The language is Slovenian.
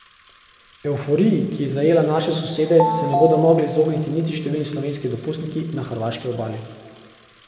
Evforiji, ki je zajela naše sosede, se ne bodo mogli izogniti niti številni slovenski dopustniki na hrvaški obali.